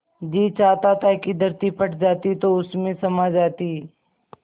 जी चाहता था कि धरती फट जाती तो उसमें समा जाती